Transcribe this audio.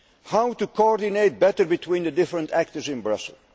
How can we coordinate better between the different actors in Brussels?